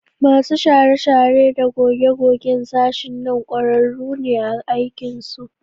Masu share-share da goge-gogen sashen nan ƙwararru ne a aikinsu